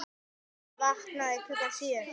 Ég vaknaði klukkan sjö.